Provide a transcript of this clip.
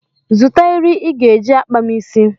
Zụta eri ị ga-eji akpa m isi.